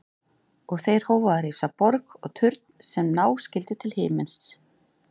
Og þeir hófu að reisa borg og turn sem ná skyldi til himins.